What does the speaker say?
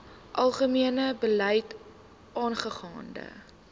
algemene beleid aangaande